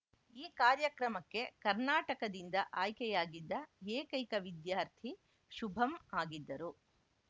ಈ ಕಾರ್ಯಕ್ರಮಕ್ಕೆ ಕರ್ನಾಟಕದಿಂದ ಆಯ್ಕೆಯಾಗಿದ್ದ ಏಕೈಕ ವಿದ್ಯಾರ್ಥಿ ಶುಭಂ ಆಗಿದ್ದರು